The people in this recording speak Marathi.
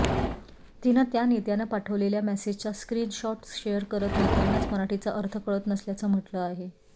तिनं त्या नेत्यानं पाठवलेल्या मेसेजचा स्क्रिनशॉट्स शेअर करत नेत्यांनाच मराठीचा अर्थ कळत नसल्याचं म्हटलं आहे